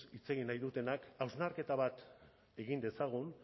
hitz egin nahi dutenek hausnarketa bat egin dezagun